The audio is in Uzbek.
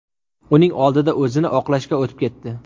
Uning oldida o‘zini oqlashga o‘tib ketdi.